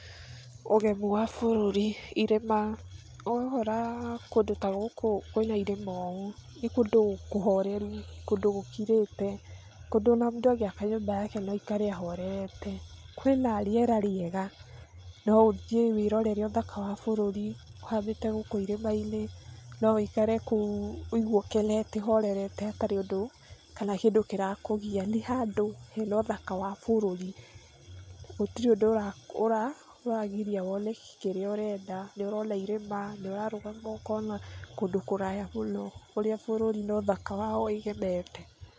Ũgemu wa bũrũri, irĩma ũgakũra kũndũ ta gũkũ ĩĩ kwĩna irĩma ũũ nĩ kũndũ kũhoreru, kũndũ gũkirĩte, kũndũ mũndũ o na angĩaka nyũmba yake no aikare ahorerete, kwĩna rĩera rĩega, no ũthiĩ wĩrorere ũthaka wa bũrũri ũhambĩte gũkũ ĩrĩma-inĩ no woikare kũu woigue ũkenete ũhoretete hatarĩ ũndũ kana kĩndũ kĩrakũgia, nĩ handũ he na ũthaka wa bũrũri, gũtĩrĩ ũndũ ũra ũra ũragiria wone kĩrĩa ũrenda, nĩ ũrona irĩma nĩ ũrarũgama ũkona kũndũ kũraya mũno kũrĩa bũrũri na ũthaka wayo ũgemete